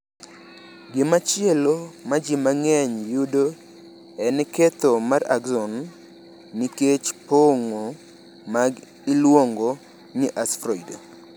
Gimachielo ma ji mang’eny yudo en ketho mar axon nikech pong’o ma iluongo ni sferoid.